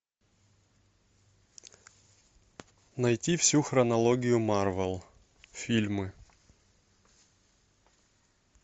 найти всю хронологию марвел фильмы